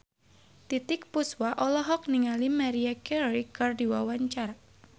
Titiek Puspa olohok ningali Maria Carey keur diwawancara